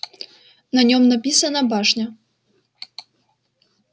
на нём написано башня